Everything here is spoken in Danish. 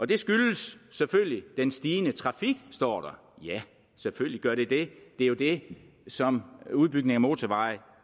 det skyldes selvfølgelig den stigende trafik står der ja selvfølgelig gør det det det er jo det som udbygning af motorveje